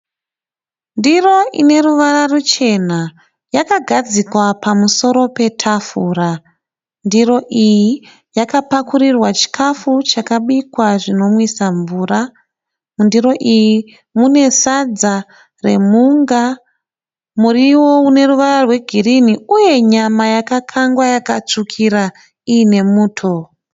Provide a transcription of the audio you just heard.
Ndiro ine ruvara ruchena yakagadzikwa pamusoro petafura. Ndiro iyi yakapakurirwa chikafu chakabikwa zvinomwisa mvura. Mundiro iyi mune sadza remhunga, muriwo une ruvara rwegirini uye nyama yakakangwa yakatsvukira iyine muto.